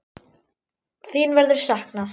Þín verður saknað.